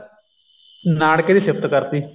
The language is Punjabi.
ਨਾਨਕੇ ਦੀ ਸਿਫਤ ਕਰਤ